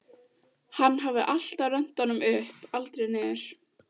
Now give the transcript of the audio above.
Hann hafði alltaf rennt honum upp, aldrei niður.